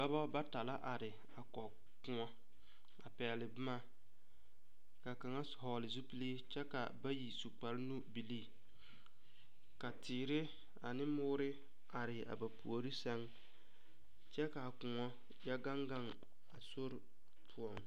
Dɔba bata la are a kɔge koɔ a pɛgle boma ka kaŋa vɔgle zupili kyɛ ka bayi su kparenubilii ka teere ane moore are a ba puori sɛŋ kyɛ ka koɔ yɔ gaŋ gaŋ a sori poɔ.